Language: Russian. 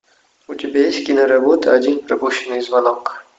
у тебя есть киноработа один пропущенный звонок